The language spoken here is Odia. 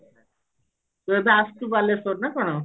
ତୁ ଏବେ ଆସିଛୁ ବାଲେଶ୍ଵର ନା କଣ